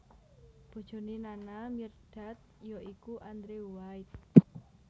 Bojoné Nana Mirdad ya iku Andrew White